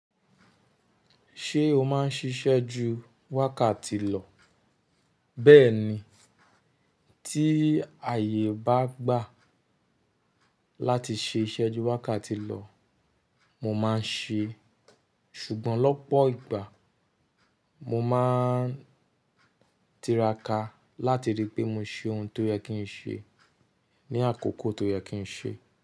Ṣé o máa ń ṣiṣẹ́ ju wákàtí lọ? Bẹ́ẹ̀ni, tí ààyè bá gbà láti ṣe iṣẹ́ ju wákàtí lọ, mo máa ń ṣe. Ṣùgbọ́n lọ́pọ̀ ìgbà mo máa ń tiraka láti ríi pé mo ṣe ohun tó yẹ kí n ṣe ní àkókò tó yẹ kí n ṣe.